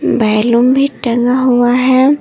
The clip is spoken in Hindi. बैलून भी टंगा हुआ है।